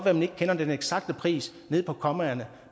at man ikke kender den eksakte pris ned på kommaerne